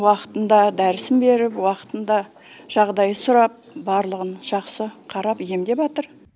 уақытында дәрісін беріп уақытында жағдай сұрап барлығын жақсы қарап емдеватыр